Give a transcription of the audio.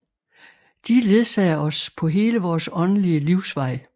De ledsager os på hele vores åndelige livsvej